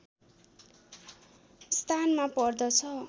स्थानमा पर्दछ